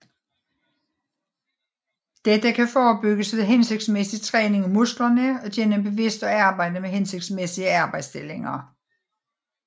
Dette kan forebygges ved hensigtsmæssig træning af musklerne og gennem bevidst arbejde med hensigtsmæssige arbejdsstillinger